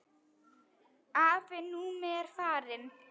Afi Númi er farinn.